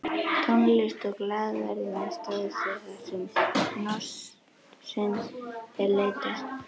Tónlist og glaðværð í næsta húsi þarsem hnossins er leitað